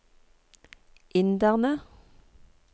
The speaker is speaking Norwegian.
inderne